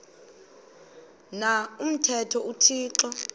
na umthetho uthixo